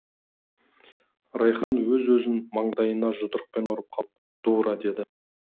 райқан өз өзін маңдайына жұдырықпен ұрып қалып дура деді